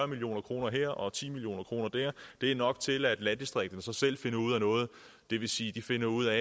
million kroner her og ti million kroner der er nok til at landdistrikterne selv finder ud af noget det vil sige finder ud af